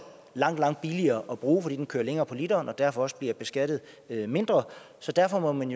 langt langt billigere at bruge fordi den kører længere på literen og derfor også bliver beskattet mindre derfor må man